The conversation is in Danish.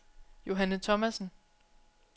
Johanne Thomassen